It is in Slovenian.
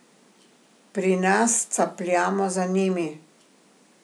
Pri nas capljamo za njimi.